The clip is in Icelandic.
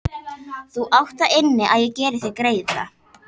Þú átt það inni að ég geri þér greiða!